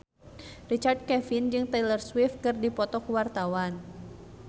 Richard Kevin jeung Taylor Swift keur dipoto ku wartawan